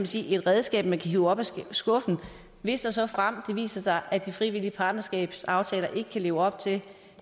sige et redskab man kan hive op af skuffen hvis og såfremt det viser sig at de frivillige partnerskabsaftaler ikke kan leve op til